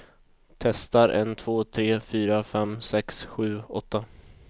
Testar en två tre fyra fem sex sju åtta.